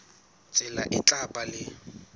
tsela e tla ba le